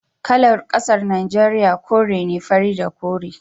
Kalar kasar Najeriya kore ne, fari da kore